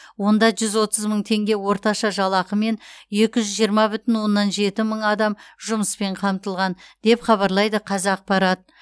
онда жүз отыз мың теңге орташа жалақымен екі жүз жиырма бүтін оннан жеті мың адам жұмыспен қамтылған деп хабарлайды қазақпарат